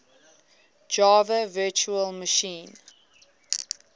java virtual machine